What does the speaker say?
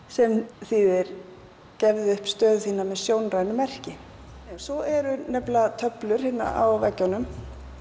sem þýðir gefðu upp stöðu þína með sjónrænu merki svo eru töflur á veggjunum